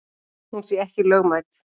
Hún sé ekki lögmæt.